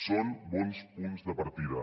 són bons punts de partida